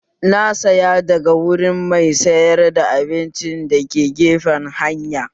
Na saya daga wurin mai sayar da abinci dake gefen hanya